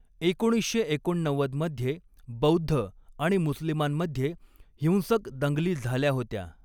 एकोणीसशे एकोणनव्वद मध्ये, बौद्ध आणि मुस्लिमांमध्ये हिंसक दंगली झाल्या होत्या.